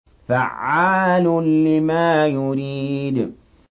فَعَّالٌ لِّمَا يُرِيدُ